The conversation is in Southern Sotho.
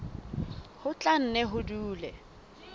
ho tla nne ho dule